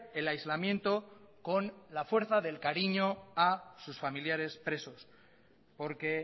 el aislamiento con la fuerza del cariño a sus familiares presos porque